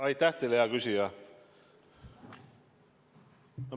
Aitäh teile, hea küsija!